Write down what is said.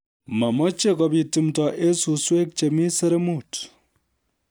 Mameche kobit tumdo eng suswek chemi seremut